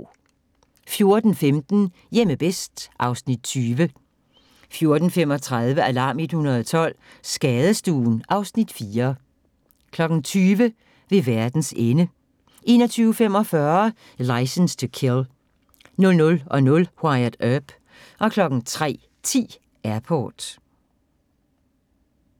14:15: Hjemme bedst (Afs. 20) 15:35: Alarm 112 – Skadestuen (Afs. 4) 20:00: Ved verdens ende 21:45: Licence to Kill 00:00: Wyatt Earp 03:10: Airport